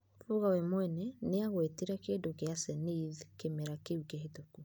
Fuga we mwene, nĩagwetire kĩndũ kĩa Zenith kĩmera kĩu kĩhĩtũku.